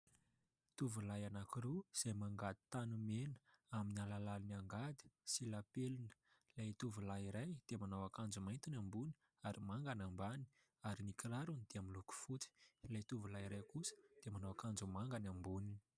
Tovolahy anankiroa izay mangady tany mena amin'ny alalan'ny angady sy lapelina : ilay tovolahy iray dia manao akanjo mainty ny ambony ary manga ny ambany ary ny kirarony dia miloko fotsy ; ilay tovolahy iray kosa dia manao akanjo manga ny amboniny.